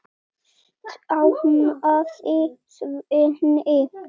stamaði Svenni.